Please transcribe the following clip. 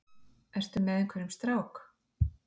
Ertu með einhverjum strák?